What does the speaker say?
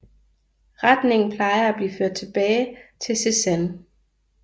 Retningen plejer at blive ført tilbage til Cézanne